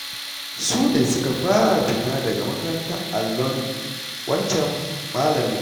Su ne suka fara fita daga makarantar allon wancan malamin